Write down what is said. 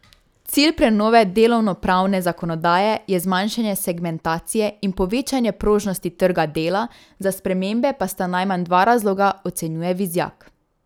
Cilj prenove delovnopravne zakonodaje je zmanjšanje segmentacije in povečanje prožnosti trga dela, za spremembe pa sta najmanj dva razloga, ocenjuje Vizjak.